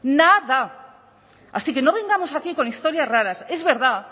nada así que no vengamos aquí con historias raras es verdad